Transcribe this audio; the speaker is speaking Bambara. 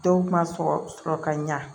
Dɔw ma sɔ sɔrɔ ka ɲa